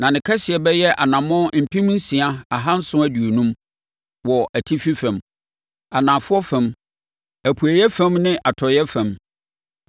na ne kɛseɛ bɛyɛ anammɔn mpem nsia ahanson aduonum (6,750) wɔ atifi fam, anafoɔ fam, apueeɛ fam ne atɔeɛ fam.